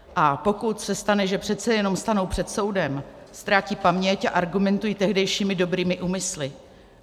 A pokud se stane, že přece jenom stanou před soudem, ztrácejí paměť a argumentují tehdejšími dobrými úmysly.